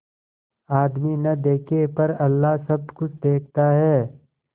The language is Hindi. आदमी न देखे पर अल्लाह सब कुछ देखता है